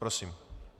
Prosím.